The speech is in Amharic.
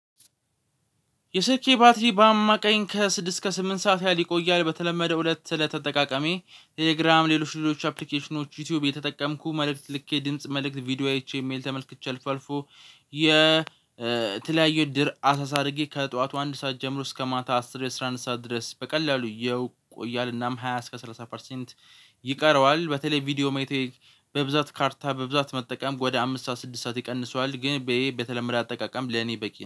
የስልኬ ባትሪ በአማካኝ ከስድስት እስከ ስምንት ሰዓት ያህል ይቆያል። በተለመደው እለት ተለተ አጠቃቀሜ ቴሌግራም ሌሎች ሌሎች አፕሊኬሽኖች ዩቲዩብ የተጠቀምኩ መልእክት ልኬ ድምጽ መልእክት ቪዲዮ አይቼ ኢ ሜይል ተመልክቼ አልፎ አልፎ የተለያዩ ድር አሰሳ አርጌ ከጠዋቱ አንድ ሰዓት ጀምሮ እስከ ማታ አስር አስራ አንድ ሰዓት ድረስ በቀላሉ ይቆያል እናም ሃያ እስከ ሰላሳ ፐርሰንት ይቀረዋል። በተለይ ቪዲዮ ማየት በብዛት ካርታ በብዛት መጠቀም ወደ አምስት ሰዓት ስድስት ሰዓት ይቀንሰዋል። ግን በተለመደ አጠቃቀም ለኔ በቂ